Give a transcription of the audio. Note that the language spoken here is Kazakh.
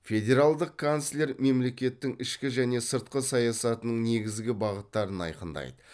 федералдық канцлер мемлекеттің ішкі және сыртқы саясатының негізгі бағыттарын айқындайды